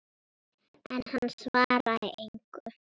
En hann svaraði engu.